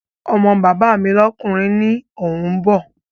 Ọmọ bàbá mi lọ́kùnrin ni òun bọ̀